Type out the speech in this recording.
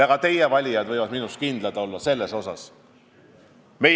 Ka teie valijad võivad kindlad olla, et seda ma teen.